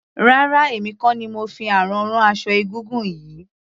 Rárá emi kò ni mo fi àrán rán aṣọ egúngún yìí.